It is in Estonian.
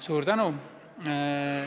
Suur tänu!